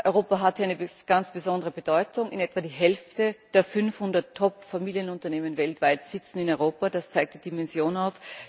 Europa hat hier eine ganz besondere Bedeutung Etwa die Hälfte der 500 Top Familienunternehmen weltweit sitzen in Europa, das zeigt die Dimension auf.